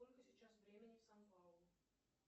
сколько сейчас времени в сан паулу